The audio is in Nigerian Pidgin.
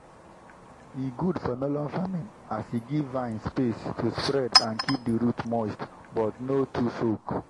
e good for melon farming as e give vine space to spread and keep di root moist but no too soak.